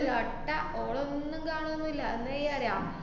~വട്ട ഓളൊന്നും കാണോന്നൂല്ല എന്താ ചെയ്യാറിയാ?